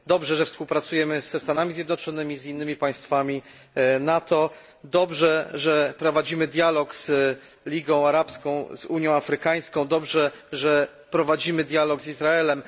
Dobrze, że współpracujemy ze Stanami Zjednoczonymi i innymi państwami NATO, dobrze, że prowadzimy dialog z Ligą Arabską, z Unią Afrykańską, dobrze, że prowadzimy dialog z Izraelem.